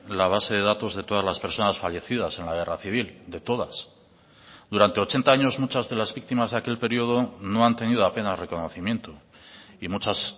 la base de datos de todas las personas fallecidas en la guerra civil de todas durante ochenta años muchas de las víctimas de aquel periodo no han tenido apenas reconocimiento y muchas